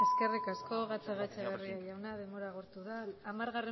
el año que eskerrik asko gatzagaetxebarria jauna denbora agortu da hamargarren